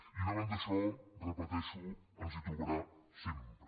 i davant d’això ho repeteixo ens hi trobarà sempre